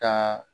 Taa